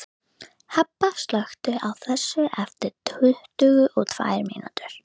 Hebba, slökktu á þessu eftir tuttugu og tvær mínútur.